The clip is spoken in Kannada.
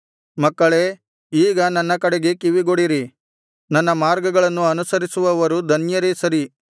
ಮಕ್ಕಳೇ ಈಗ ನನ್ನ ಕಡೆಗೆ ಕಿವಿಗೊಡಿರಿ ನನ್ನ ಮಾರ್ಗಗಳನ್ನು ಅನುಸರಿಸುವವರು ಧನ್ಯರೇ ಸರಿ